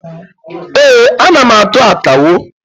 Ee, ana m atụ akawo.